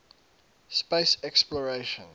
space exploration